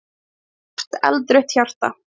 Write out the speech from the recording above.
Stórt, eldrautt hjarta!